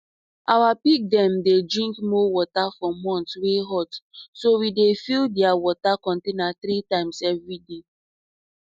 our pig dem dey drink more water for months wey hot so we dey fill dia water container three times everyday